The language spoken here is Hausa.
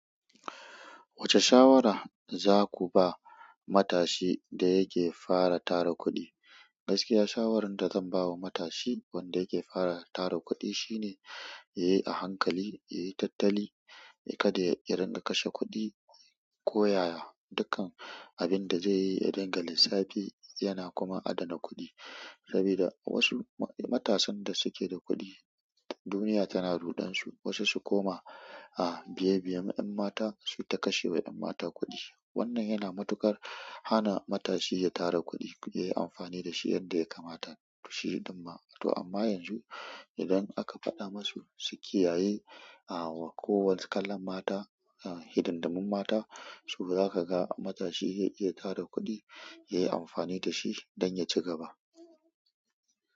Wacce shawara za ku ba matashi da yake fara tara kuɗi? Gaskiya shawarar da zan bawa matashi wanda yake fara tara kuɗi shine yayi a hankai, yayi tattali kada ya riƙa tashr kuɗi ko yaya duka. Abin da zai yi ya ɗinka lissafi yana kuma adana kuɗi. Saboda wasu matasan da suke da kuɗi, duniya tana ruɗansu. Wasu su koma a biye-biye yan mata su ta kashe wa yan mata kuɗi. Wannan yana matuƙar hana matashi ya tara kuɗi, yayi amfani dashi yadda ya kamata. Shi ɗumma. To amma yanzu idan aka faɗa masu su kiyaye a wa kowace kalar mata, a hidindimun mata, to zaka ga matashi zai iya tara kuɗi, yayi amfani da shi don ya ci gaba.